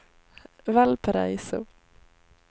Valparaiso